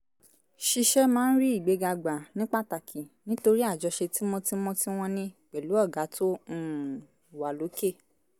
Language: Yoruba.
ṣiṣẹ́ máa ń rí ìgbéga gbà ní pàtàkì nítorí àjọṣe tímọ́tímọ́ tí wọ́n ní pẹ̀lú "ọ̀gá tó um wà lókè "